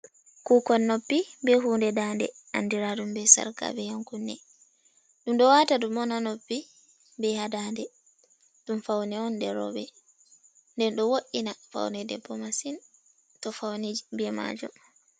Kuukon noppi bee huunde daande, andiraaɗum bee sarka bee ƴankunne ɗum ɗo waata ɗum on haa noppi bee haa daande, ɗum fawne jey rooɓe, nden ɗo wo’'ina fawne debbo masin to fawni bee maajum.